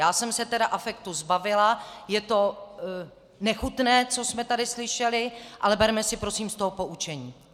Já jsem se tedy afektu zbavila, je to nechutné, co jsme tady slyšeli, ale berme si, prosím, z toho poučení.